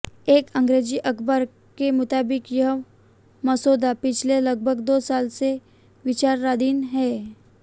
एक अंग्रेजी अखबार के मुताबिक यह मसौदा पिछले लगभग दो साल से विचाराधीन है